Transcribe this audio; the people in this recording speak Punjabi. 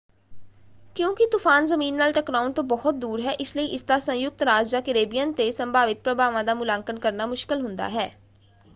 ਕਿਉਂਕਿ ਤੂਫਾਨ ਜਮੀਨ ਨਾਲ ਟਕਰਾਉਣ ਤੋਂ ਬਹੁਤ ਦੂਰ ਹੈ ਇਸ ਲਈ ਇਸਦਾ ਸੰਯੁਕਤ ਰਾਜ ਜਾਂ ਕੈਰੇਬੀਅਨ ਤੇ ਸੰਭਾਵਿਤ ਪ੍ਰਭਾਵਾਂ ਦਾ ਮੁਲਾਂਕਣ ਕਰਨਾ ਮੁਸ਼ਕਲ ਹੁੰਦਾ ਹੈ।